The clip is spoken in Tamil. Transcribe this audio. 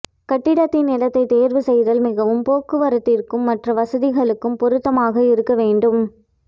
கட்டிடத்தின் இடத்தை தேர்வு செய்தல் மிகவும் போக்குவரத்திர்க்கும் மற்ற வசதிகளுக்கும் பொருத்தமாக இருக்க வேண்டும்